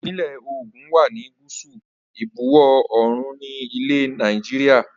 Ìpínlẹ̀ Ògùn wá ní gúúsù ìbuwọ̀ oòrùn ni ilẹ̀ Nàìjíríà